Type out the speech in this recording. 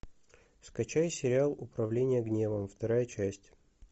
скачай сериал управление гневом вторая часть